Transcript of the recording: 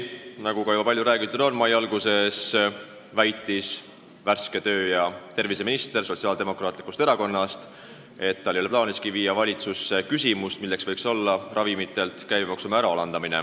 Nagu juba palju räägitud on, mai alguses väitis värske tervise- ja tööminister Sotsiaaldemokraatlikust Erakonnast, et tal ei ole plaaniski viia valitsusse küsimust, kas ehk võiks ravimite käibemaksu määra alandada.